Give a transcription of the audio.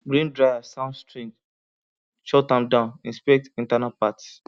grain dryer sound strange shut am down inspect internal parts